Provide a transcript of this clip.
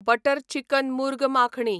butter chicken murgh makhani